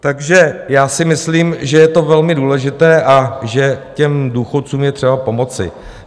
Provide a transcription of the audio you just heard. Takže já si myslím, že je to velmi důležité a že těm důchodcům je třeba pomoci.